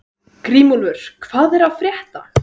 Grímúlfur, hvað er að frétta?